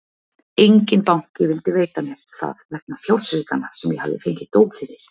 Enginn banki vildi veita mér það vegna fjársvikanna sem ég hafði fengið dóm fyrir.